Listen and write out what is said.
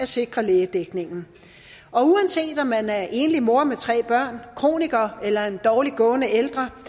sikre lægedækningen og uanset om man er enlig mor med tre børn kroniker eller en dårligt gående ældre